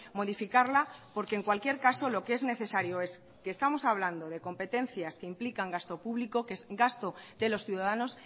modificarla porque en cualquier caso lo que es necesario es que estamos hablando de competencias que implican gasto público que es gasto de los ciudadanos